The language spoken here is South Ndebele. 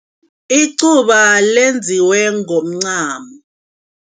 Iquba lenziwe ngomncamo.